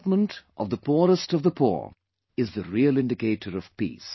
Development of the poorest of the poor is the real indicator of peace